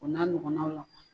O n'a nɔgɔlaw